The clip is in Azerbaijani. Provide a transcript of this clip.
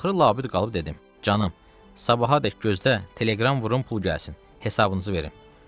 Axırı labüd qalıb dedim: Canım, sabahadək gözlə, telegram vurum pul gəlsin, hesabınızı verim.